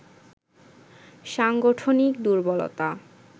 সাংগঠনিক দুর্বলতা